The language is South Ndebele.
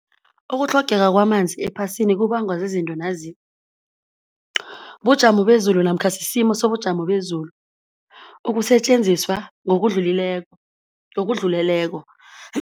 Ukutlhogeka kwamanzi ephasini kubangwa zizinto nazi, bujamo bezulu namkha sisimo sobujamo bezulu, ukusetjenziswa ngokudlulileko ngokudluleleko